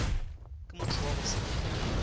ke motho wa go se